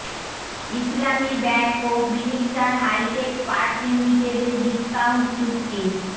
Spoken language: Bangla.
ইসলামী ব্যাংক ও মিনিস্টার হাইটেক পার্ক লিমিটেডের ডিসকাউন্ট চুক্তি